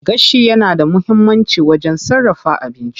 Gashi yana da muhimmanci wajen sarrafa abinci.